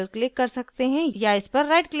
और edit text option चुन सकते हैं